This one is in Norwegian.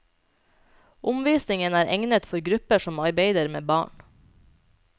Omvisningen er egnet for grupper som arbeider med barn.